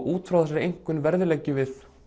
út frá þessari einkunn verðleggjum við